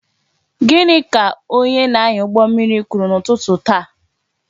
Gịnị ka onye na-anya ụgbọ mmiri kwuru n'ụtụtụ taa?